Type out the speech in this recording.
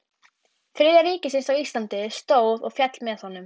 Þriðja ríkisins á Íslandi stóð og féll með honum.